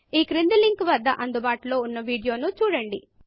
ఈ క్రింది లింకు వద్ద అందుబాటులో ఉన్న వీడియో ను చూడండి